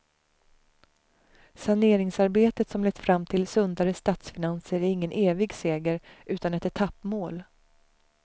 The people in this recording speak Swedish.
Saneringsarbetet som lett fram till sundare statsfinanser är ingen evig seger, utan ett etappmål.